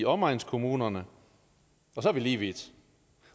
omegnskommunerne og så er vi lige vidt